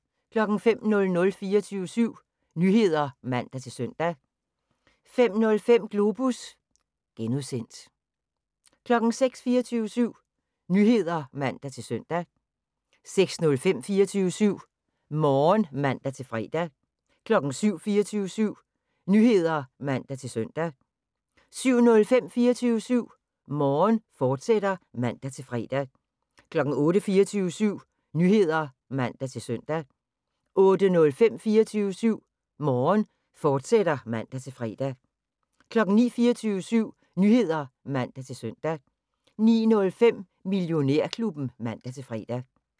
05:00: 24syv Nyheder (man-søn) 05:05: Globus (G) 06:00: 24syv Nyheder (man-søn) 06:05: 24syv Morgen (man-fre) 07:00: 24syv Nyheder (man-søn) 07:05: 24syv Morgen, fortsat (man-fre) 08:00: 24syv Nyheder (man-søn) 08:05: 24syv Morgen, fortsat (man-fre) 09:00: 24syv Nyheder (man-søn) 09:05: Millionærklubben (man-fre)